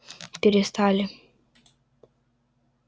перестали